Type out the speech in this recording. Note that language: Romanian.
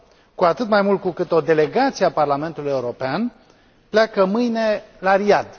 Cu atât mai mult cu cât o delegație a Parlamentului European pleacă mâine la Riad.